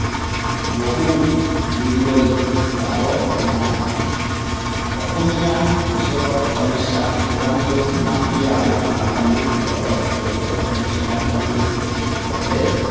বহু দূৰলৈ যাব নালাগে। অসমীয়া কৃষকৰ সমস্যা প্ৰধানকৈ মাটি আৰু বানপানীৰ লগত জড়িত সমস্যা। বানপানীয়ে প্ৰতি বছৰে